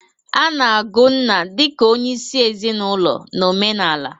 A na-agụ nna dị ka onyeisi ezinaụlọ na omenala.